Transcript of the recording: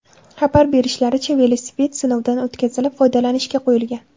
Xabar berishlaricha, velosiped sinovdan o‘tkazilib, foydalanishga qo‘yilgan.